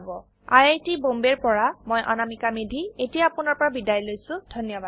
আই আই T Bombay ৰ পৰা মই অনামিকা মেধী এতিয়া আপুনাৰ পৰা বিদায় লৈছো যোগদানৰ বাবে ধন্যবাদ